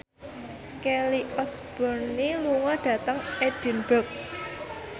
Kelly Osbourne lunga dhateng Edinburgh